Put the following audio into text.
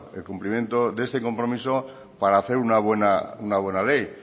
el complimiento de este compromiso para hacer una buena ley